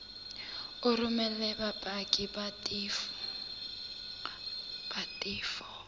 o romele bopaki ba tefo